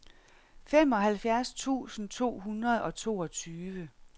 femoghalvfjerds tusind to hundrede og toogtyve